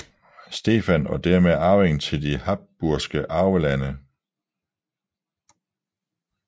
Stefan og dermed arving til de Habsburgske Arvelande